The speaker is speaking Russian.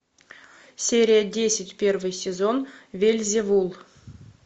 серия десять первый сезон вельзевул